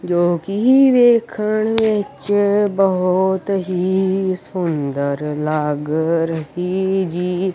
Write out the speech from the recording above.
ਜੋ ਕਿ ਵੇਖਣ ਵਿਚ ਬਹੁਤ ਹੀ ਸੁੰਦਰ ਲੱਗ ਰਹੀ ਜੀ।